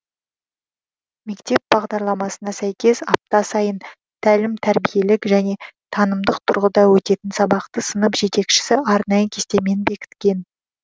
мектеп бағдарламасына сәйкес апта сайын тәлім тәрбиелік және танымдық тұрғыда өтетін сабақты сынып жетекшісі арнайы кестемен бекіткен